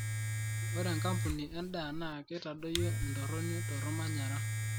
ore enkampuni endaa naa keitadoyio entoroni tormanyara